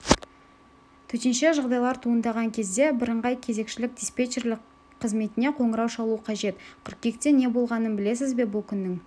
төтенше жағдайлар туындаған кезде бірыңғай кезекшілік-диспетчерлік қызметіне қоңырау шалу қажет қыркүйекте не болғанын білесіз бе бұл күннің